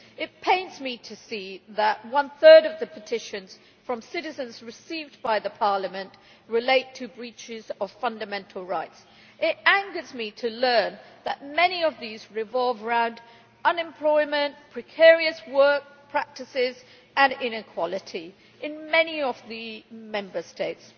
It pains me to see that one third of the petitions from citizens received by Parliament relate to breaches of fundamental rights. It angers me to learn that many of these revolve around unemployment, precarious work practices and inequality in many of the Member States.